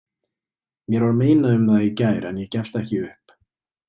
Mér var neitað um það í gær en ég gefst ekki upp.